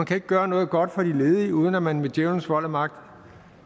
kan gøre noget godt for de ledige uden at man med djævelens vold og magt